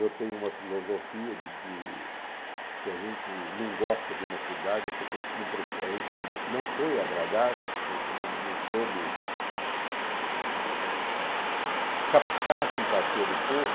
Eu tenho uma filosofia de que se a gente não gosta de uma cidade é porque a gente não foi agradável, a gente não não soube, eh... captar a simpatia do povo.